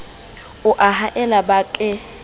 o a haella ba ke